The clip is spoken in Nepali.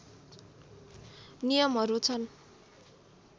नियमहरू छन्